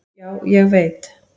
"""Já, ég veit"""